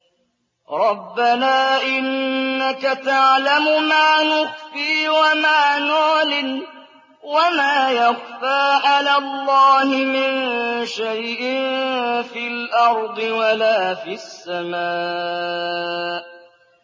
رَبَّنَا إِنَّكَ تَعْلَمُ مَا نُخْفِي وَمَا نُعْلِنُ ۗ وَمَا يَخْفَىٰ عَلَى اللَّهِ مِن شَيْءٍ فِي الْأَرْضِ وَلَا فِي السَّمَاءِ